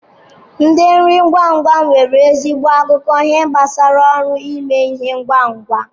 Ndi nri ngwa ngwa nwere ezigbo akụkọ ihe gbasara ọrụ ime ihe ngwa ngwa.